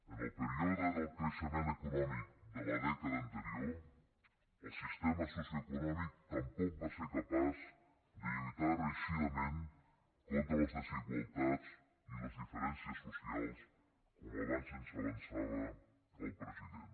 en el període del creixement econòmic de la dècada anterior el sistema socioeconòmic tampoc va ser capaç de lluitar reeixidament contra les desigualtats i les diferències socials com abans ens avançava el president